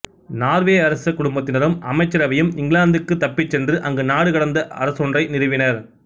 Norway அரச குடும்பத்தினரும் அமைச்சரவையும் இங்கிலாந்துக்குத் தப்பிச் சென்று அங்கு நாடு கடந்த அரசொன்றை நிறுவினர்